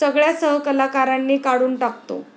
सगळ्या सहकलाकारांनी काढून टाकतो.